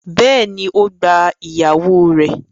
Bẹ́ẹ̀ni, ó gba ìyàwó rẹ̀